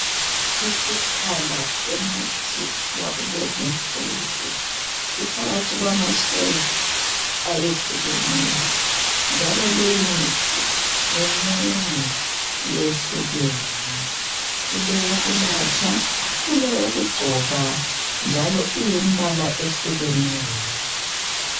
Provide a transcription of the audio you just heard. Isiphala semithi yakulezinsuku. Iphakathi kwama shelf ayehlukeneyo, njalo leyimithi minengi, iyehlukene. Kuleyokunatha, kuleyokugcoba njalo iyimbala eyehlukeneyo.